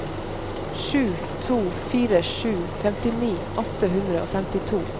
sju to fire sju femtini åtte hundre og femtito